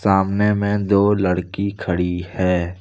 सामने में दो लड़की खड़ी है।